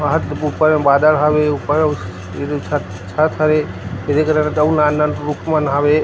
बहुत ऊपर बादल हावे ऊपर छ छत हवे एदे करन अउ नान रुख मन हावे।